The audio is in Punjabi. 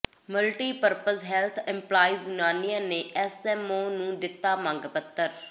ਮਲਟੀਪਰਪਜ਼ ਹੈਲਥ ਇੰਪਲਾਈਜ਼ ਯੂਨੀਅਨ ਨੇ ਐੱਸਐੱਮਓ ਨੂੰ ਦਿੱਤਾ ਮੰਗ ਪੱਤਰ